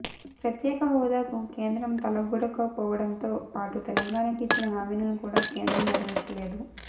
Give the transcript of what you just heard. ప్రత్యేకహోదాకు కేంద్రం తలొగ్గకపోవడంతో పాటు తెలంగాణకు ఇచ్చిన హామీలను కూడా కేంద్రం నెరవేర్చలేదు